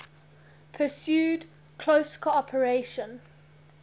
pursued close cooperation